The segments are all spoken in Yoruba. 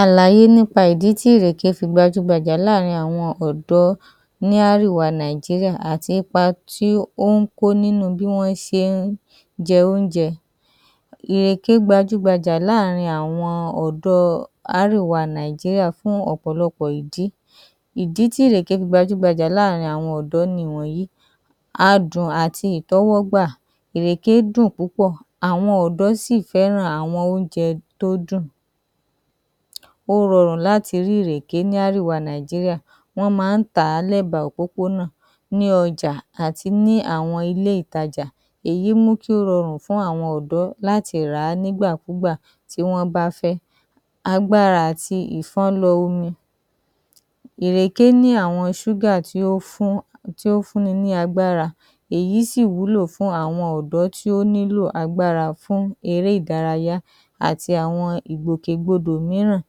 Àlàyé nípa ìdí tí ìrèké fi gbajúgbajà láàrin àwọ ọ̀dọ́ ní árìwa Nàíjíríà àti ipa tí ó ń kó nínu bí wọ́n ṣe ń jẹ óúnjẹ. Ìrèké gbajúgbajà láàrin àwọn ọ̀dọ́ árìwa Nàíjíríà fún ọ̀pọ̀lọpọ̀ ìdí. Ìdí tí ìrèké fi gbajúgbajà láàrin àwọn ọ̀dọ́ nìwọ̀nyíì; Adùn àti ìtẹ́wọ́gbà: Ìrèké dùn púpọ̀, àwọn ọ̀dọ́ sì fẹ́ràn àwọn óúnjẹ tó dùn. Ó rọrùn láti rí ìrèké ní árìwa Nàíjíríà. Wọ́n máá ń tà á lẹ́ba òpópónà, ní ọjà àti ní àwọn ilé ìtajà. Èyí mú kí ó rọrùn fún àwọn ọ̀dọ́ láti rà á nígbàkúgbà tí wọ́n bá fẹ́. Agbára àti ìfọ́nlọ omi: Ìrèké ní àwọn ṣúgà tí ó ń fún tí ó ń fúnni ní agbára, èyí sì wúlò fún àwọn ọ̀dọ́ tí ó nílò agbára fún eré ìdárayá àti àwọn ìgbòkègbodò mííràn.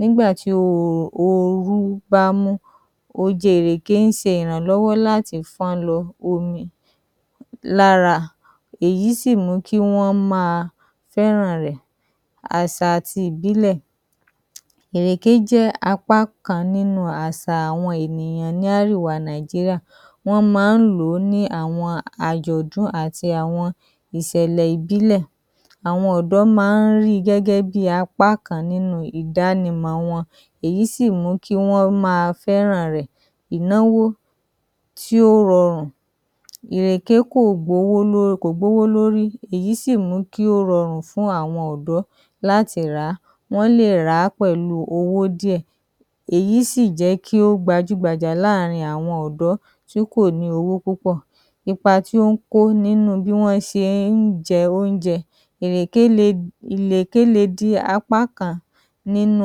Nígbà tí orú bá mú, oje ìrèké ń se ìrànlọ́wọ́ láti fọ́n lọ omi lára. Èyí sì mú kí wọ́n máa fẹ́ran rẹ̀. Àsà àti ìbílẹ̀: Ìrèké jẹ́ apá kan nínu àsa àwọn ènìyàn ní árìwa Nàíjíríà. Wọ́n máá ń lò ó ní àwọn àjọ̀dún àti àwọn ìsẹ̀lẹ̀ ìbílẹ̀. Àwọn ọ̀dọ́ máá ń rí i gẹ́gẹ́ bi apá kan nínu ìdánimọ̀ wọn, èyí sì mú kí wọ́n máa fẹ́ran rẹ̀. Ìnáwó tí ó rọrùn: Ìrèké kò gbówó kò gbówó lórí, èyí sì mú kí ó rọrùn fún àwọn ọ̀dọ́ láti rà á. Wọ́n lè rà á pẹ̀lu owó díẹ̀, èyí sì jẹ́ kí ó gbajúgbajà láàrin àwọn ọ̀dọ́ tí kò lọ́wọ́ púpọ̀. Ipa tí ó ń kó nínu bí wọ́n se ń jẹ óúnjẹ: Ìrèké le ìrèké le dí apá kan nínu,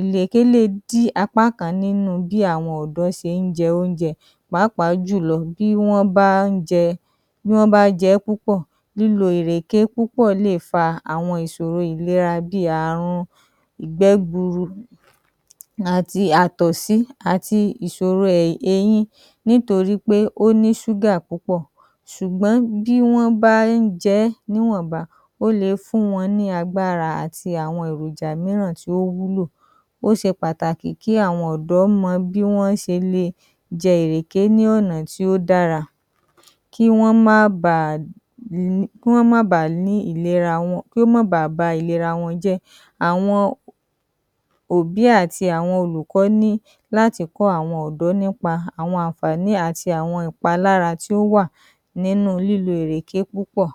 ìrèké le dí apá kan nínu bí àwọn ọ̀dọ́ se ń jẹ óúnjẹ, pàápàá jùlọ bí wọ́n bá ń jẹ, bí wọ́n bá jẹ ẹ́ púpọ̀. Lílo ìrèké púpọ̀ lè fa àwọn ìsòro ìlera bí i àrun ìgbẹ́ gburu àti àtọ̀sí àti ìsòro eyín nítorí pé ó ní ṣúgà púpọ̀. Sùgbọ́n bí wọ́n bá ń jẹ ẹ́ níwọ̀nba, ó le fún wọn ní agbára àti àwọn èròjà mìíràn tí ó wúlò. Ó se pàtàkì kí àwọn ọ̀dọ́ mọ bí wọn se le jẹ ìrèké ní ọ̀nà tí ó dára kí wọ́n má ba kí wọ́n má ba ní ìlera, kí ó mọ́ ba à ba ìlera wọn jẹ́. Àwọn òbí àti àwọn olùkọ́ ní láti kọ́ àwọn ọ̀dọ́ nípa àwọn àǹfààní àti àwọn ìpalára tí ó wà nínu lílo ìrèké púpọ̀.